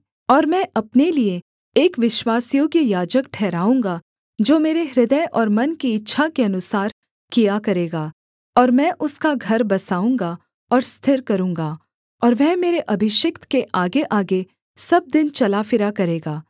और मैं अपने लिये एक विश्वासयोग्य याजक ठहराऊँगा जो मेरे हृदय और मन की इच्छा के अनुसार किया करेगा और मैं उसका घर बसाऊँगा और स्थिर करूँगा और वह मेरे अभिषिक्त के आगेआगे सब दिन चला फिरा करेगा